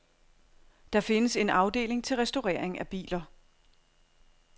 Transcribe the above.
Der findes en afdeling til restaurering af biler.